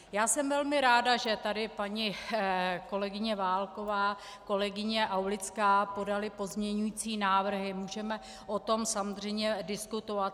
Já jsem velmi ráda, že tady paní kolegyně Válková, kolegyně Aulická podaly pozměňující návrhy, můžeme o tom samozřejmě diskutovat.